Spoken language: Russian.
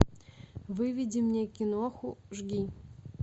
выведи мне киноху жги